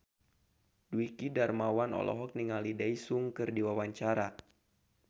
Dwiki Darmawan olohok ningali Daesung keur diwawancara